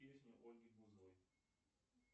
песни ольги бузовой